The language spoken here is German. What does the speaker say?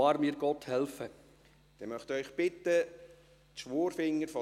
Ich bitte den Generalsekretär, die Eidesformel vorzulesen.